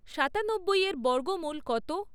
সাতানব্বইয়ের বর্গমূল কত?